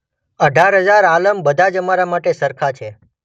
અઢાર હઝાર આલમ બધા જ અમારા માટે સરખાં છે.